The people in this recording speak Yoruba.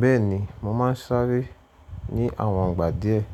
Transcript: Bẹ́ẹ̀ni, mo máa ń sáré ní àwọn ìgbà díẹ̀.